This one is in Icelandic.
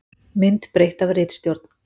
Mynd breytt af ritstjórn.